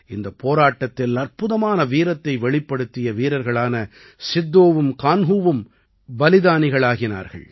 இந்தப் போராட்டத்தில் அற்புதமான வீரத்தை வெளிப்படுத்திய வீரர்களான சித்தோவும் கான்ஹூவும் பலிதானிகளாகினார்கள்